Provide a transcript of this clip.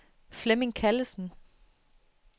Flemming Callesen